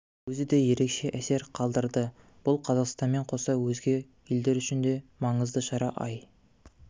өзі де ерекше әсер қалдырды бұл қазақстанмен қоса өзге елдер үшін де маңызды шара ай